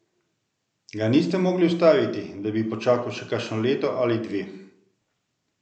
Ga niste mogli ustaviti, da bi počakal še kakšno leto ali dve?